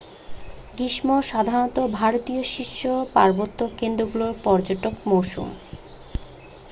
গ্রীষ্ম সাধারণত ভারতীয় শীর্ষ পার্বত্য কেন্দ্রগুলোর পর্যটন মৌসুম